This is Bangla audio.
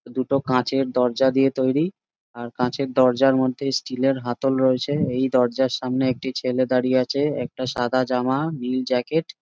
দুটো কাঁচের দরজা দিয়ে তৈরি আর কাঁচের দরজার মধ্যে স্টিলের হাতল রয়েছে এই দরজার সামনে একটি ছেলে দাঁড়িয়ে আছে একটা সাদা জামা নীল জ্যাকেট--